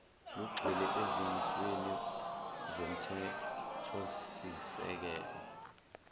lugxile ezimisweni zomthethosisekelo